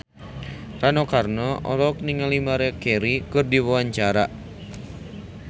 Rano Karno olohok ningali Maria Carey keur diwawancara